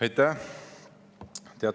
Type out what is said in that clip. Aitäh!